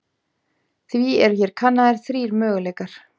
Því eru hér kannaðir þrír möguleikar.